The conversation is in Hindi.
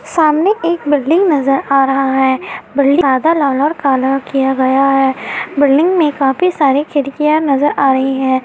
सामने एक बिल्डिंग नजर आ रहा है बिल्डिंग आधा कलर किया गया है बिल्डिंग में काफी सारी खिड़कियाँ नज़र आ रही हैं।